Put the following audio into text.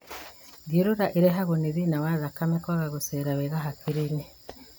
Thiũrũra ĩrehagwo nĩ thĩna wa thakame kwaga gũcera wega hakiri-inĩ